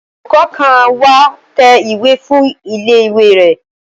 Olùkọ́ kan wá tẹ ìwé fún ilé ìwé rẹ̀